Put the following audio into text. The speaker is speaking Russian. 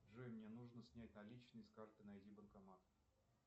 джой мне нужно снять наличные с карты найди банкомат